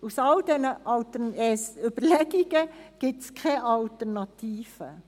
Aus all diesen Überlegungen gibt es keine Alternativen.